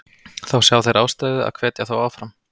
Þá sjá þeir ástæðu að hvetja þá áfram.